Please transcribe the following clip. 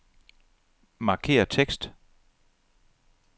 Markér tekst.